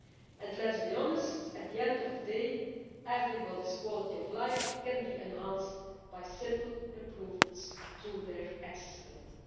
And let us be honest, at the end of the day, everybody's quality of life can be enhanced by simple improvements to their accessibility.